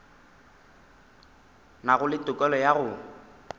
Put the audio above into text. nago le tokelo ya go